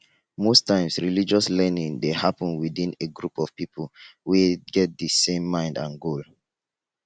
most times religious learning dey happen within a group of pipo we get di same mind and goal